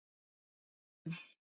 Garðar Hólm.